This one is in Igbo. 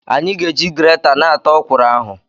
Anyị ga-eji gireta na-ata okwuru ahụ.